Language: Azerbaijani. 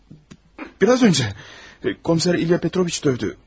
Yəni, biraz öncə komissar İlya Petroviç dövdü.